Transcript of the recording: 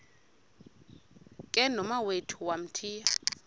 ke nomawethu wamthiya